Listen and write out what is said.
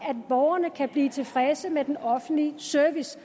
at borgerne kan blive tilfredse med den offentlige service